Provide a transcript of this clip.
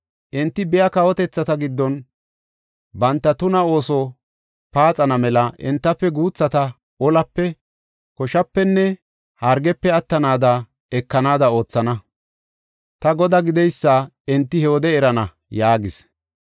Enti biiya kawotethata giddon banta tuna ooso paaxana mela entafe guuthata olape, koshapenne hargepe attidi akekanada oothana. Ta Godaa gideysa enti he wode erana” yaagis.